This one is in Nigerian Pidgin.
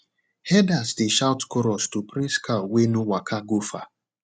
herders dey shout chorus to praise cow wey no waka go far